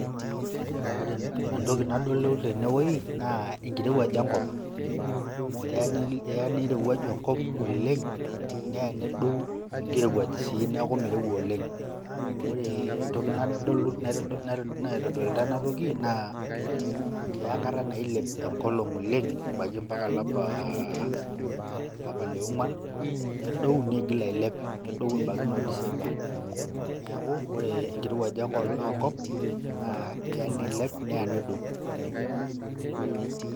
Ore entoki nadolu tene woi naa enkirowuaj enkop amu eya nirowuaju enkop oleng' neya nedou enkirowuaj sii neeku mirouwa oleng'. Ore entoki naitodilata ena toki naa keya enkata nailep enkolong' oleng' ebaiki mpaka olapa le ong'uan, nedou nigil ailep nedou ebaiki noo december. Neeku ore enkirowuaj enkop naa keya nilep neya nedou.